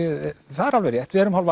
það er alveg rétt við erum hálf